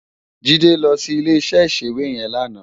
Jide lò si ilé iṣè iṣéwé yèn làná